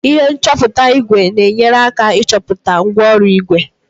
ihe nchọpụta ígwè na-enyere aka ịchọpụta mgwooru ígwè